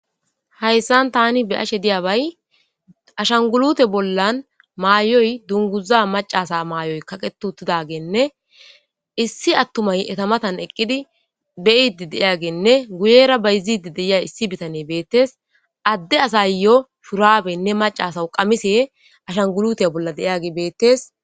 Hayisan tani be'ashe diyaba ashagulute bollan mayo dunguzay maca asa mayo kaqeti utidageyinee issi atumay eta matani eqidi be'idi de'eyageynee guyera bayizidi de'agey de'eya issi bittaney betes ade asawu shurabeyinee maca asawu qamisey de'eyage ashagulute bollan betes